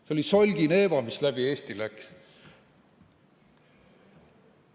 See oli Solgi-Neeva, mis läbi Eesti läks.